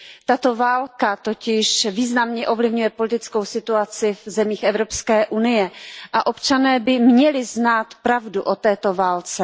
Tato válka totiž významně ovlivňuje politickou situaci v zemích Evropské unie a občané by měli znát pravdu o této válce.